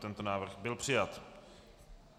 Tento návrh byl přijat.